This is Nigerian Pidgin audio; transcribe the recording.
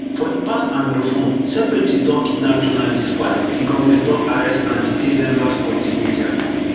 for di past anglophone separatists don kidnap journalists while di govment don arrest and detain members of di media